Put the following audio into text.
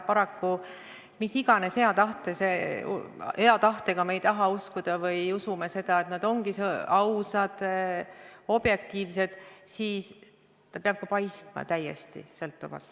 Paraku, mis iganes hea tahtega me ka ei usu, et komisjon on aus ja objektiivne, ta peab ka paistma täiesti sõltumatu.